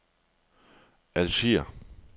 Algier